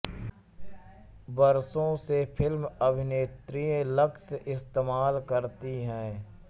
बरसों से फिल्म अभिनेत्रियँ लक्स इस्तेमाल करती है